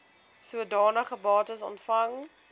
sodanige bates ontvang